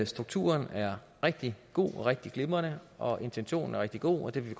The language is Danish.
strukturen er rigtig god og rigtig glimrende og at intentionen er rigtig god og det vil